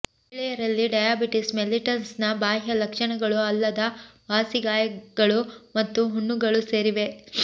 ಮಹಿಳೆಯರಲ್ಲಿ ಡಯಾಬಿಟಿಸ್ ಮೆಲ್ಲಿಟಸ್ನ ಬಾಹ್ಯ ಲಕ್ಷಣಗಳು ಅಲ್ಲದ ವಾಸಿ ಗಾಯಗಳು ಮತ್ತು ಹುಣ್ಣುಗಳು ಸೇರಿವೆ